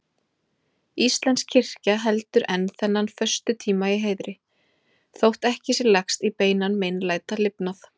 Íslensk kirkja heldur enn þennan föstutíma í heiðri, þótt ekki sé lagst í beinan meinlætalifnað.